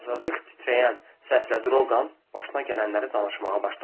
Azacıq titrəyən səslə Drougan başına gələnləri danışmağa başladı.